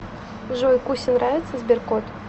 джой кусе нравится сберкот